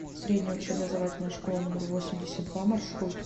средняя общеобразовательная школа номер восемьдесят два маршрут